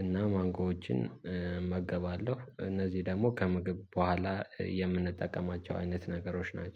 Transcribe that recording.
እና ማንጎዎችን እመገባለሁ እነዚህ ደግሞ ከመገብ በኋላ የምንጠቀማቸው አይነት ነገሮች ናቸው